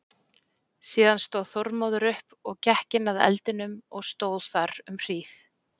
Síðan stóð Þormóður upp og gekk inn að eldinum og stóð þar um hríð.